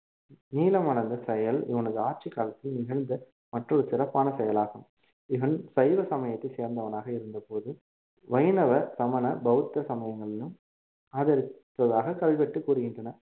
நீளமான அந்த செயல் இவனது ஆட்சி காலத்தில் நிகழ்ந்த மற்றொரு சிறப்பான செயல் ஆகும் இவன் சைவ சமயத்தை சேர்ந்தவனாக இருந்தபோதும் வைணவ சமண பௌத்த சமயங்களிலும் ஆதரித்ததாக கல்வெட்டு கூறுகின்றன